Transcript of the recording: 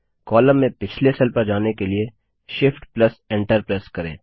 column में पिछले cell पर जाने के लिए Shift Enter प्रेस करें